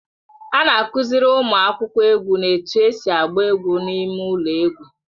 A na-akụziri ụmụ akwụkwọ egwu na-etu esi agba egwu n'ime ụlọ egwu